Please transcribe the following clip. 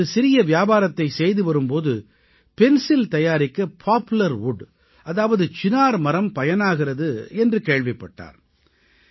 அவர் தனது சிறிய வியாபாரத்தைச் செய்து வரும் போது பென்சில் தயாரிக்க பாப்லர் வுட் அதாவது சினார் மரம் பயனாகிறது என்று கேள்விப்பட்டார்